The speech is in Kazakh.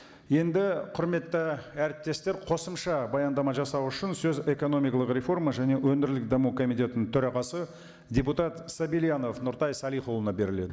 енді құрметті әріптестер қосымша баяндама жасау үшін сөз экономикалық реформа және өндірілік даму комитетінің төрағасы депутат сабельянов нұртай салихұлына беріледі